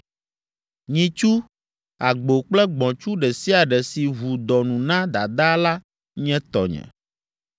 “Nyitsu, agbo kple gbɔ̃tsu ɖe sia ɖe si ʋu dɔ nu na dadaa la nye tɔnye.